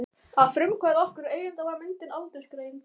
Að frumkvæði okkar og eigenda var myndin aldursgreind.